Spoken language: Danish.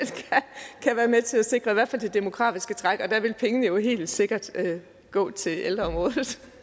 kan være med til at sikre i hvert fald det demografiske træk og der vil pengene helt sikkert gå til ældreområdet